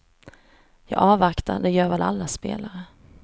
Jag avvaktar, det gör väl alla spelare.